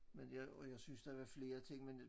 Men jeg jeg synes der var flere ting men